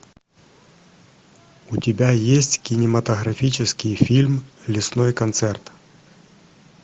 у тебя есть кинематографический фильм лесной концерт